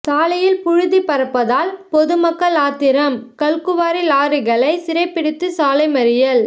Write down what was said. சாலையில் புழுதி பறப்பதால் பொதுமக்கள் ஆத்திரம் கல்குவாரி லாரிகளை சிறை பிடித்து சாலை மறியல்